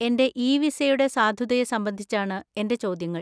എന്‍റെ ഇ വിസയുടെ സാധുതയെ സംബന്ധിച്ചാണ് എന്‍റെ ചോദ്യങ്ങൾ.